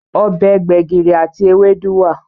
Obè gbegiri àti Ewédú wá.